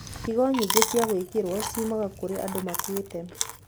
Higo nyingĩ cia gwĩkĩro ciumaga kũrĩ andũ makuĩte.